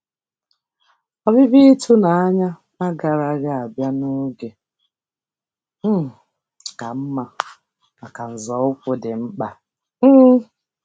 Ọbịbịa ịtụnanya agaraghị abịa n'oge um ka mma maka nzọụkwụ dị mkpa um